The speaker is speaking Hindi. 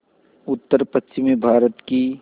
उत्तरपश्चिमी भारत की